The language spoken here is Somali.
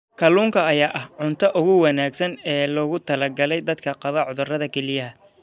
Kalluunka ayaa ah cuntada ugu wanaagsan ee loogu talagalay dadka qaba cudurrada kelyaha.